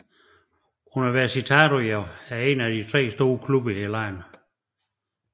Universitario er én af de tre store klubber i landet